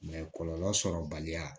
kɔlɔlɔ sɔrɔbaliya